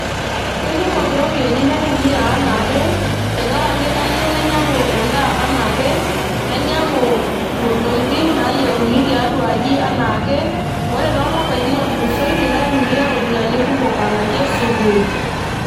Keikumok iropiyiani naitumia anaake tenkaraki kayieu nainyiangu endaa anaake ,nainyiangu intokitin nayieuni tiatua aji anaake. ore tolapaitin otulusoitie naitumia iropiyiani kumok alakie sukuul.